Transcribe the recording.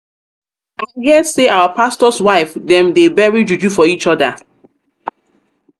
i hear say our pastors wife dem they bury juju for each other.